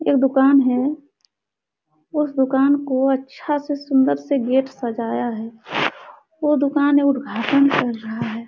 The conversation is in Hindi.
एक दुकान है। उस दुकान को अच्छा से सुंदर से गेट सजाया है। वो दुकान का उद्घाटन कर रहा है।